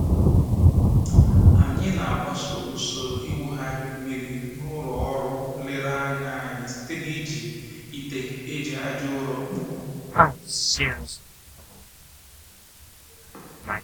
Anyị na-agbaso usoro ịwụgharị mmiri n'ụlọ ọrụ nlereanya anyị site n'iji ite e ji aja ụrọ kpụọ